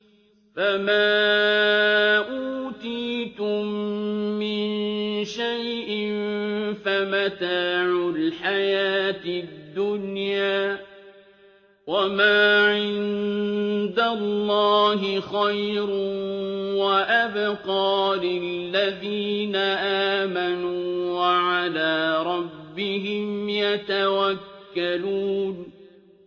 فَمَا أُوتِيتُم مِّن شَيْءٍ فَمَتَاعُ الْحَيَاةِ الدُّنْيَا ۖ وَمَا عِندَ اللَّهِ خَيْرٌ وَأَبْقَىٰ لِلَّذِينَ آمَنُوا وَعَلَىٰ رَبِّهِمْ يَتَوَكَّلُونَ